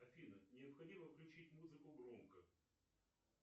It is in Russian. афина необходимо включить музыку громко